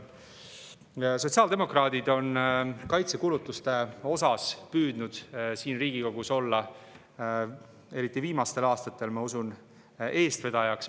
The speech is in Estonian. Sotsiaaldemokraadid on kaitsekulutuste puhul püüdnud siin Riigikogus olla, eriti viimastel aastatel, ma usun, eestvedajaks.